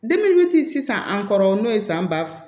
sisan an kɔrɔ n'o ye san ba